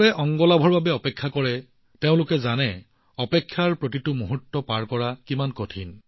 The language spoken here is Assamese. অংগ দানৰ বাবে অপেক্ষা কৰা লোকসকলে জানে যে অপেক্ষাৰ প্ৰতিটো মুহূৰ্ত অতিক্ৰম কৰাটো কিমান কঠিন